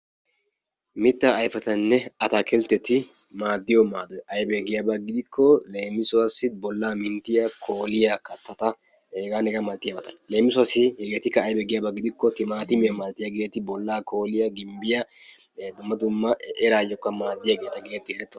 Mittaa ayfetunne ataakiltteti maaddiyo maadoy aybee giyaba gidikko leem, bollaa kooliya, minttiya kattata h.h.m. leem hegeetikka aybee giikko timaatimiya malatiyageeti bolla kooliya, gimbbiya, eraayyokka maaddiyageeta geetettoosona.